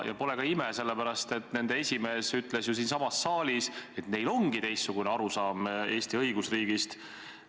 Ja pole ka ime, sellepärast, et nende esimees ütles ju siinsamas saalis, et neil ongi teistsugune arusaam Eesti õigusriigist.